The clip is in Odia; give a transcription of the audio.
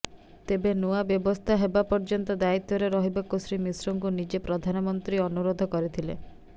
ତେବେ ନୂଆ ବ୍ୟବସ୍ଥା ହେବା ପର୍ଯ୍ୟନ୍ତ ଦାୟିତ୍ୱରେ ରହିବାକୁ ଶ୍ରୀ ମିଶ୍ରଙ୍କୁ ନିଜେ ପ୍ରଧାନମନ୍ତ୍ରୀ ଅନୁରୋଧ କରିଥିଲେ